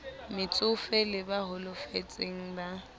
metsofe le ba holofetseng ba